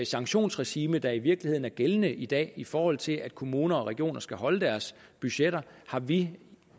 sanktionsregime der i virkeligheden er gældende i dag i forhold til at kommuner og regioner skal holde deres budgetter har vi